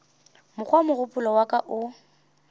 mokgwa mogopolo wa ka o